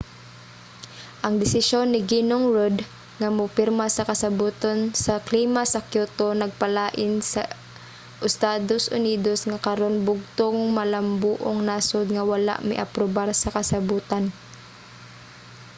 ang desisyon ni ginong rudd nga mopirma sa kasabotan sa klima sa kyoto nagpalain sa estados unidos nga karon bugtong malambuong nasod nga wala miaprubar sa kasabotan